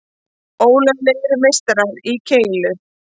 Ólöglegir meistarar í keilu